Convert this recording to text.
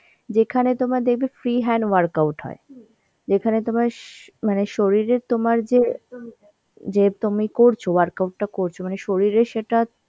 যেখানে তোমার দেখবে free hand workout হয় যেখানে তোমার শ~ মানে শরীরের তোমার যে যে তুমি করছ workout টা করছ মানে শরীরে সেটা